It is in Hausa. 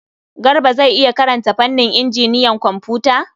Garba zai iya karanta fannin injiniyan kwamfuta?